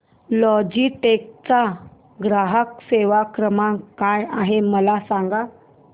Logitech चा ग्राहक सेवा क्रमांक काय आहे मला सांगा